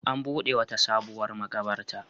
An buɗe wata sabuwar maƙabarta.